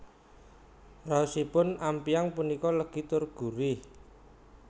Raosipun ampyang punika legi tur gurih